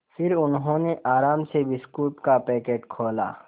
फिर उन्होंने आराम से बिस्कुट का पैकेट खोला